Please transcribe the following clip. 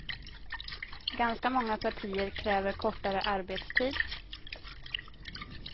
Ganska många partier kräver kortare arbetstid.